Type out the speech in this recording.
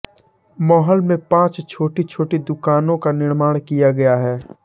महल में पांच छोटीछोटी दुकानों का निर्माण किया गया है